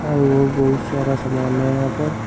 और वो बहुत सारा सामान है यहां पर --